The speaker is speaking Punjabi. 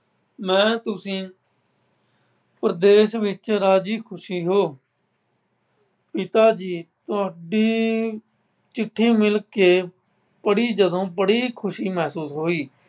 ਮੈਂ ਤੁਸੀਂ ਪ੍ਰਦੇਸ਼ ਵਿੱਚ ਰਾਜ਼ੀ ਖੁਸ਼ੀ ਹੋ। ਪਿਤਾ ਜੀ ਤੁਹਾਡੀ ਚਿੱਠੀ ਮਿਲ ਕੇ ਪੜ੍ਹੀ ਜਦੋਂ ਪੜ੍ਹੀ ਖੁਸ਼ੀ ਮਹਿਸੂਸ ਹੋਈ।